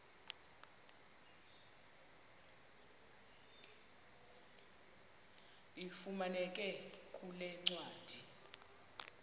ifumaneka kule ncwadi